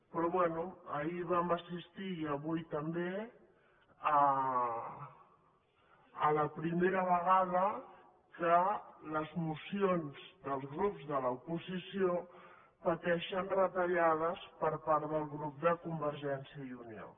però bé ahir vam assistir i avui també a la primera vegada que les mocions dels grups de l’oposició pateixen retallades per part del grup de convergència i unió